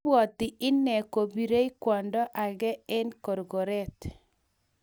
Ibwati inne kobirei kwondo age eng korkoret